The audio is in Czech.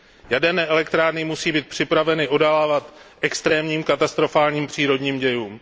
Jaderné elektrárny musí být připraveny odolávat extrémním katastrofálním přírodním dějům.